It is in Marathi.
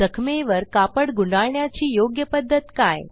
जखमेवर कापड गुंडाळण्याची योग्य पध्दत काय